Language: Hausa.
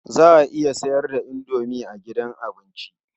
Za a iya sayar da indomi a gidan abinci.